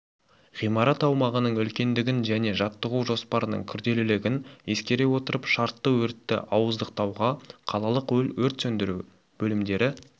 ғимарат аумағының үлкендігін және жаттығу жоспарының күрделілігін ескере отырып шартты өртті ауыздықтауға қалалық өрт сөндіру бөлімдері